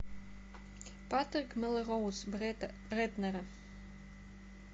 патрик мелроуз бретт рэйтнера